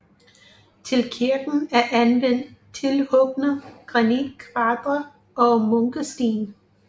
Til kirken er anvendt tilhugne granitkvadre og munkesten